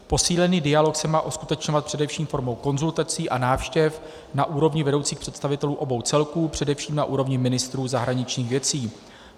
Posílený dialog se má uskutečňovat především formou konzultací a návštěv na úrovni vedoucích představitelů obou celků, především na úrovni ministrů zahraničních věcí.